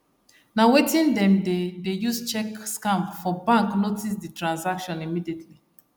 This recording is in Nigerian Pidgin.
na wetin them dey dey use check scam for bank notice the transaction immediately